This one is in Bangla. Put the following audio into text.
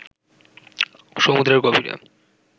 সমুদ্রের গভীরে